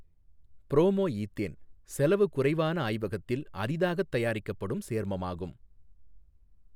Promo ethane செலவு குறைவான ஆய்வகத்தில் அரிதாகத் தயாரிக்கப்படும் சேர்மமாகும்.